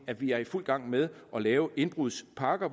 at vi er i fuld gang med at lave nogle indbrudspakker